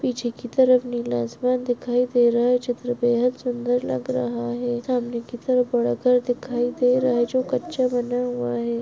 पीछे की तरफ नीला आसमान दिखाई दे रहा है चित्र बेहद सुंदर लग रहा है सामने की तरफ बड़ा घर दिखाई दे रहा है जो कच्चा बना हुआ है।